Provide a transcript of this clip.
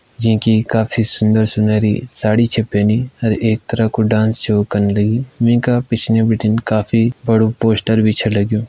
जींकी काफी सुंदर सुंदरी साड़ी छे पैनी अर एक तरह को डांस शो कन लगीं वींका पिछने बिटिन काफी बड़ो पोस्टर भी छ लग्युं।